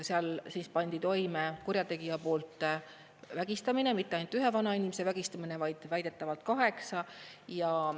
Seal pandi toime kurjategija poolt vägistamine, ja mitte ainult ühe vanainimese vägistamine, vaid väidetavalt kaheksa.